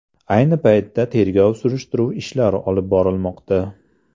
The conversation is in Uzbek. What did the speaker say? Ayni paytda tergov surishtiruv ishlari olib borilmoqda.